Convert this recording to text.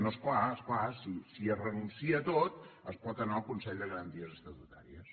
no és clar és clar si es renuncia a tot es pot anar al consell de garanties estatutàries